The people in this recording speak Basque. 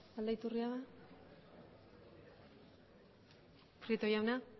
aldaiturriaga prieto jauna